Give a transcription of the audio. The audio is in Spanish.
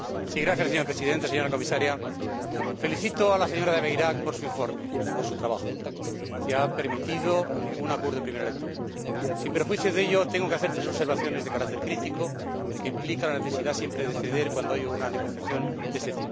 Señor Presidente, señora Comisaria, felicito a la señora De Veyrac por su informe y por su trabajo, que ha permitido un acuerdo en primera lectura. Sin perjuicio de ello, tengo que hacer tres observaciones de carácter crítico que implican la necesidad de ceder siempre cuando hay una negociación de este tipo.